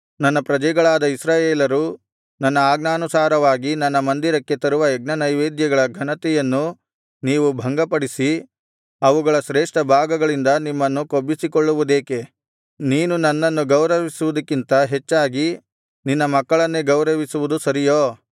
ನನ್ನ ಪ್ರಜೆಗಳಾದ ಇಸ್ರಾಯೇಲರು ನನ್ನ ಆಜ್ಞಾನುಸಾರವಾಗಿ ನನ್ನ ಮಂದಿರಕ್ಕೆ ತರುವ ಯಜ್ಞನೈವೇದ್ಯಗಳ ಘನತೆಯನ್ನು ನೀವು ಭಂಗಪಡಿಸಿ ಅವುಗಳ ಶ್ರೇಷ್ಠ ಭಾಗಗಳಿಂದ ನಿಮ್ಮನ್ನು ಕೊಬ್ಬಿಸಿಕೊಳ್ಳುವುದೇಕೆ ನೀನು ನನ್ನನ್ನು ಗೌರವಿಸುವುದಕ್ಕಿಂತ ಹೆಚ್ಚಾಗಿ ನಿನ್ನ ಮಕ್ಕಳನ್ನೇ ಗೌರವಿಸುವುದು ಸರಿಯೋ